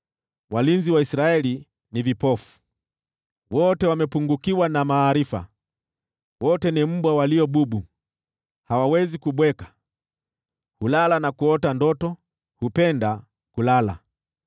Walinzi wa Israeli ni vipofu, wote wamepungukiwa na maarifa; wote ni mbwa walio bubu, hawawezi kubweka; hulala na kuota ndoto, hupenda kulala.